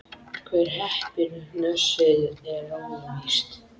Hver hreppir hnossið er óvíst.